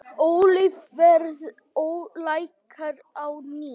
Olíuverð lækkar á ný